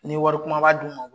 Ni wari kunbaba d'u ma